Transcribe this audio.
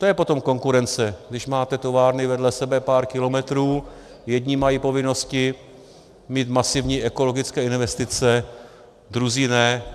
To je potom konkurence, když máte továrny vedle sebe pár kilometrů, jedni mají povinnosti mít masivní ekologické investice, druzí ne.